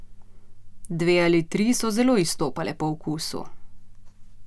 Dve ali tri so zelo izstopale po okusu.